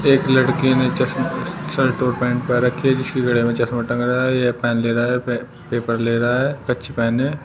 एक लड़के ने चश्मा शर्ट और पैंट पहन रखी है जिसके गले में चश्मा टंग रहा है यह पेन ले रहा है पे पेपर ले रहा है पहने।